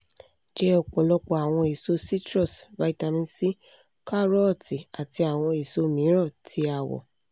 jẹ ọpọlọpọ awọn eso citrus vitamin c karọ́ọ̀tì ati awọn eso miiran ti awọ